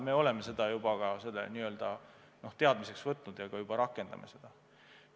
Me oleme selle soovituse teadmiseks võtnud ja juba rakendame seda.